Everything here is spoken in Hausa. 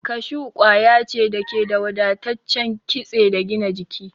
Kashu kwaya ce da ke da wadataccen kitse da gina jiki.